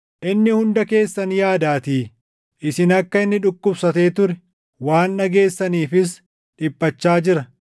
Inni hunda keessan yaadaatii; isin akka inni dhukkubsatee ture waan dhageessaniifis dhiphachaa jira.